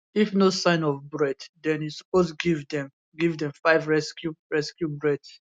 if no sign of breath den you suppose give dem give dem 5 rescue rescue breaths